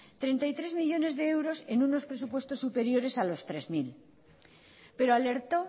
treinta y tres millónes de euros en unos presupuestos superiores a los tres mil pero alertó